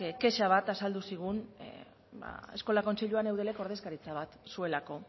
kexa bat azaldu zigun eskola kontseiluan eudelek ordezkaritza bat zuelako